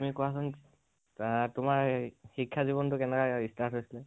তুমি কোৱাচোন তোমাৰ শিক্ষা জীৱানটো কেনেকে start হৈছিলে?